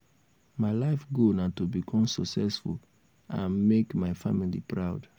my life goal na to become successful and make um my family proud.